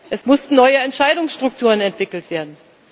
Es mussten neue Entscheidungsstrukturen entwickelt werden.